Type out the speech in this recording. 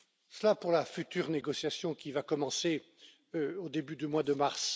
Cela pour la future négociation qui va commencer au début du mois de mars.